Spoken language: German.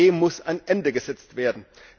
Dem muss ein Ende gesetzt werden.